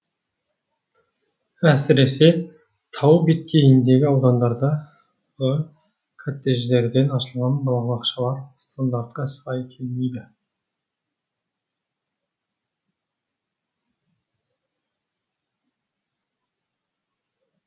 әсіресе тау беткейіндегі аудандардағы коттедждерден ашылған балабақшалар стандартқа сай келмейді